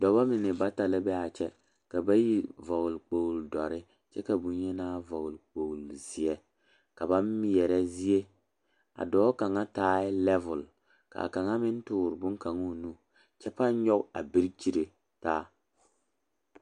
Dɔbɔ mine bata la be a kyɛ ka bayi vɔgle vɔgle kpogri dɔre kyɛ ka boŋyenaa vɔgle kpogri seɛ ka ba meɛrɛ zie a dɔɔ kaŋa taɛ lɛɛvɔl ka kaŋa meŋ tɔɔre boŋkaŋa o nu kyɛ pãã nyɔge a birikyiri taa.